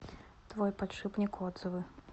твой подшипник отзывы